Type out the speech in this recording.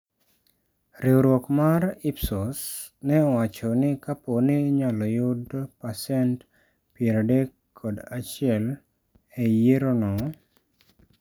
Riwruok mar IPSOS ne owacho ni Kapo ni inyalo yudo pasent 31 e yier no.